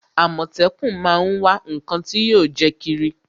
Àmọ̀tẹ́kún má á ń wá ǹnkan tí yóò jẹ́ kírí